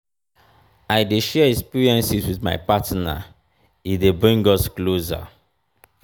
i dey share experiences wit my partner e dey bring us closer.